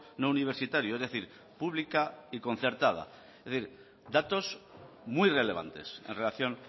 no universitario es decir pública y concertada es decir datos muy relevantes en relación